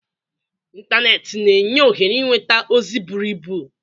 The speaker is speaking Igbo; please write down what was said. Ịntanetị na-enye ohere ịnweta ozi buru ibu.